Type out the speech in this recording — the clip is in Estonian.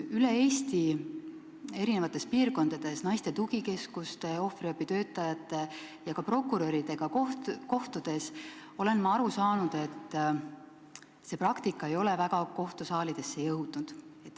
Üle Eesti eri piirkondades naiste tugikeskuste, ohvriabi töötajate ja ka prokuröridega kohtudes olen ma aru saanud, et see praktika ei ole kohtusaalidesse eriti jõudnud.